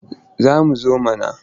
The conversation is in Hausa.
Za mu zo mana.